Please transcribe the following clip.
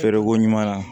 Feereko ɲuman na